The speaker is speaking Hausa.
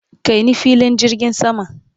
kai ni filin jirgin sama!